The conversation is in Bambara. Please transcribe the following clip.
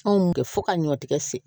Anw kɛ fo ka ɲɔtigɛ se